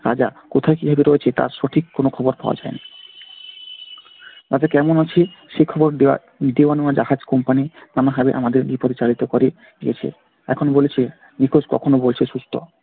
রাজা কোথায় কিভাবে রয়েছে তার সঠিক কোনো খবর পাওয়া যায়না। রাজা কেমন আছে সে খবর দেওয়ার দেওয়ানেওয়া জাহাজ company আমাদের বিপথে চালিত করে গিয়েছে। এখন বলছে নিখোঁজ, কখনও বলছে অসুস্থ।